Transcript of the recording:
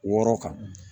Wɔɔrɔ kan